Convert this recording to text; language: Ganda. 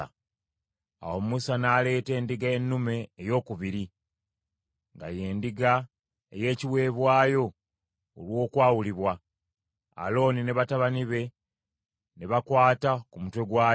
Awo Musa n’aleeta endiga ennume eyookubiri, nga y’endiga ey’ekiweebwayo olw’okwawulibwa; Alooni ne batabani be ne bagikwata ku mutwe gwayo.